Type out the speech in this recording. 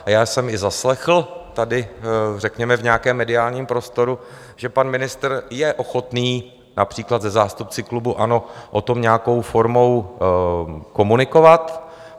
A já jsem i zaslechl tady, řekněme, v nějaké mediálním prostoru, že pan ministr je ochotný například se zástupci klubu ANO o tom nějakou formou komunikovat.